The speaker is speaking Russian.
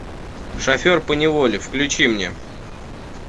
шофер поневоле включи мне